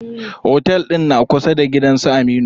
Otel ɗin na kusa da gidan su Aminu.